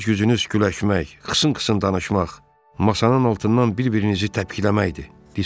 İşiniz gücünüz güləşmək, xısın-xısın danışmaq, masanın altından bir-birinizi təpikləməkdir, Disko dedi.